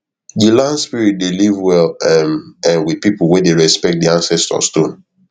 di land spirit dey live well um um with people wey dey respect di ancestor stone